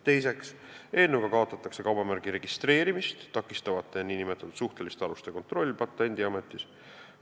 Teiseks kaotatakse eelnõuga kaubamärgi registreerimist takistavate nn suhteliste aluste kontroll Patendiametis.